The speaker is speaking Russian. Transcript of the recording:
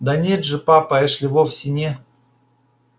да нет же папа эшли вовсе не